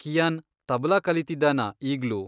Qian tabla ಕಲೀತಿದಾನಾ ಈಗ್ಲೂ?